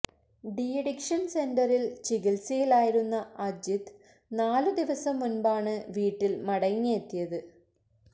D addiction സെന്ററിൽ ചികിത്സയിലായിരുന്ന അജിത് നാലുദിവസം മുൻപാണ് വീട്ടിൽ മടങ്ങിയെത്തിയത്